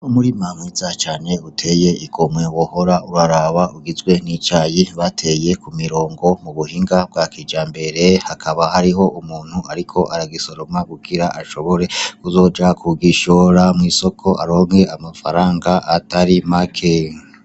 Umurima mwiza cane uteye igomwe wohora uraraba ugizwe nicayi bateye ku mirongo mu buhinga bwa kijambere ,hakaba hariho umuntu ariko aragisoroma kugira ashobore kuzoja kugishora mw'isoko aronke amafaranga atari make .